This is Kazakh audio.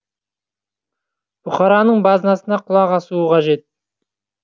бұқараның базынасына құлақ асуы қажет